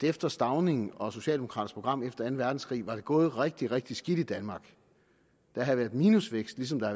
efter stauning og socialdemokraternes program efter anden verdenskrig var det gået rigtig rigtig skidt i danmark der havde været minusvækst ligesom der